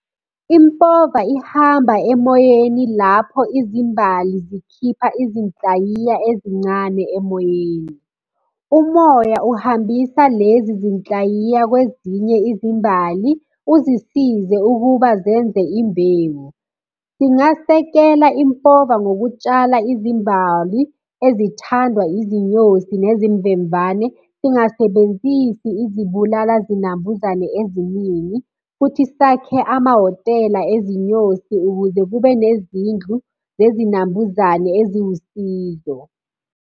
Impova ihamba emoyeni lapho izimbali zikhipha izinhlayiya ezincane emoyeni. Umoya uhambisa lezi zinhlayiya kwezinye izimbali, uzisize ukuba zenze imbewu. Singasekela impova ngokutshala izimbali ezithandwa izinyosi nezimvemvane, singasebenzisi izibulala zinambuzane eziningi, futhi sakhe amahhotela ezinyosi ukuze kube nezindlu zezinambuzane eziwusizo.